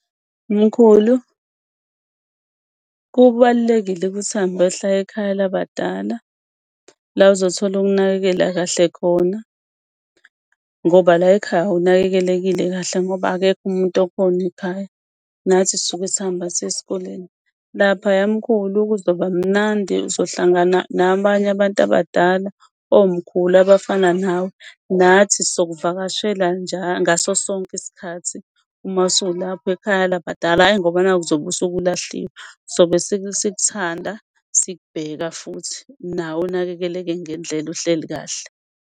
Mkhulu, kubalulekile ukuthi uhambe uyohlala ekhaya labadala la ozothola ukunakekela kahle khona ngoba la ekhaya awunakelekekile kahle ngoba akekho umuntu okhona ekhaya. Nathi sisuke sihamba siye esikoleni laphaya mkhulu kuzoba mnandi. Uzohlangana nabanye abantu abadala omkhulu abafana nawe. Nathi sokuvakashela ngaso sonke isikhathi. Uma usulapho ekhaya liyabadala hhayi ngoba naku uzobe usuke ulahliwe, sobe sik'thanda sik'bheka futhi nawe unakekeleke ngendlela, uhleli kahle.